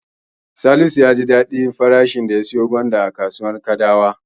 Salisu ya ji daɗi sosai da farashin da ya siyo gwanda a kasuwar Kadawa.